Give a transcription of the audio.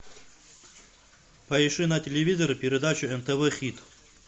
поищи на телевизоре передачу нтв хит